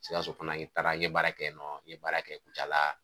Sikaso fana n taara n ye baara kɛ yen nɔ ,n ye baara kɛ kucala.